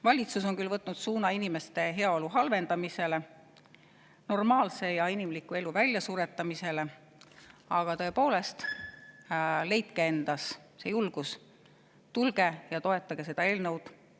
Valitsus on küll võtnud suuna inimeste heaolu halvendamisele, normaalse ja inimliku elu väljasuretamisele, aga tõepoolest, leidke endas see julgus, tulge ja toetage seda eelnõu!